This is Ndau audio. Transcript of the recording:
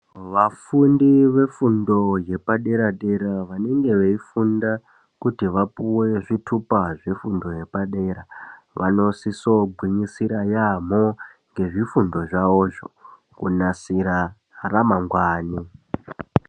Vafundi vefundo yepadera dera vanenge veifunda kuti vapuwe zvitupa zvefundo yepadera vanosisa kugwinyisira yambo ngezvifundo zvavozvo kunasira ramangwani.